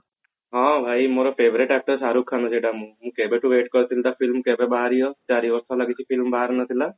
ହଁ ଭାଇ ମୋର favorite actor ଶାହରୁଖ ଖାନ ସେଟା ମୁଁ କେବେଠୁ wait କରିଥିବି ତା film କେବେ ବାହାରିବ ଚାରିବର୍ଷ ହେଲା film ବାହାରି ନଥିଲା